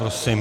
Prosím.